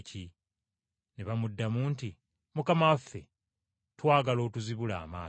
Ne bamuddamu nti, “Mukama waffe, twagala otuzibule amaaso.”